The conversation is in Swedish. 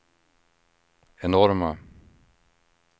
enorma